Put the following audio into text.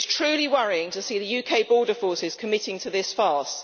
It is truly worrying to see the UK border forces committing to this farce.